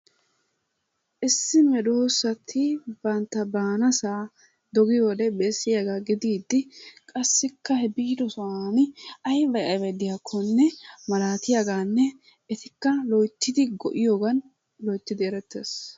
Issi medoossati bantta baanaassa doggiyode besiyaga gididi qassikka he biiddo sohuwan aybay aybay diyakkonne malaattiyagaanne etikka loyttidi go'iyogan loyttidi erettees.